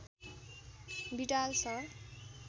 Widal sir